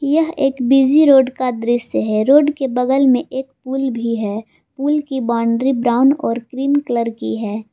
यह एक busy road का दृश्य है रोड के बगल में एक पुल भी है फूल की बाउंड्री ब्राउन और क्रीम कलर की है।